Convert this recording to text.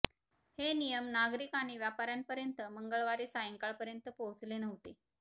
हे नियम नागरिक आणि व्यापाऱ्यांपर्यंत मंगळवारी सायंकाळपर्यंत पोहोचले नव्हते